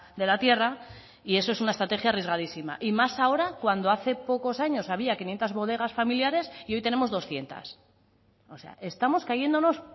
de la tierra y eso es una estrategia arriesgadísima y más ahora cuando hace pocos años había quinientos bodegas familiares y hoy tenemos doscientos o sea estamos cayéndonos